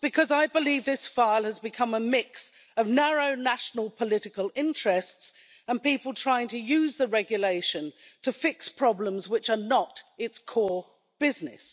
Because I believe this file has become a mix of narrow national political interests and people trying to use the regulation to fix problems which are not its core business.